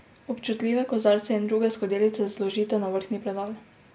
Občutljive kozarce in druge skodelice zložite na vrhnji predal.